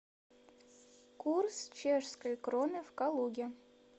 курс чешской кроны в калуге